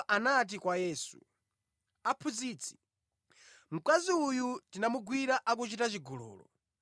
anati kwa Yesu, “Aphunzitsi, mkazi uyu tinamugwira akuchita chigololo.